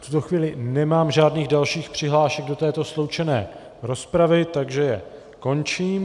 V tuto chvíli nemám žádných dalších přihlášek do této sloučené rozpravy, takže ji končím.